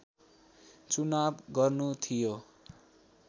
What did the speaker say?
चुनाव गर्नु थियो